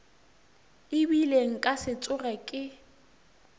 ebile nka se tsoge ke